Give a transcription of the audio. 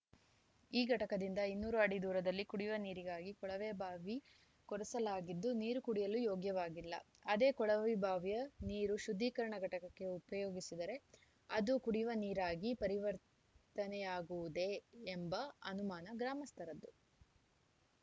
ಈ ಘಟಕದಿಂದ ಇನ್ನೂರು ಅಡಿ ದೂರದಲ್ಲಿ ಕುಡಿಯುವ ನೀರಿಗಾಗಿ ಕೊಳವೆ ಭಾವಿ ಕೊರೆಸಲಾಗಿದ್ದು ನೀರು ಕುಡಿಯಲು ಯೋಗ್ಯವಾಗಿಲ್ಲ ಅದೇ ಕೊಳವೆಬಾವಿಯ ನೀರು ಶುದ್ಧೀಕರಣ ಘಟಕಕ್ಕೆ ಉಪಯೋಗಿಸಿದರೆ ಅದು ಕುಡಿಯುವ ನೀರಾಗಿ ಪರಿವರ್ತನೆಯಾಗುವುದೇ ಎಂಬ ಅನುಮಾನ ಗ್ರಾಮಸ್ಥರದ್ದು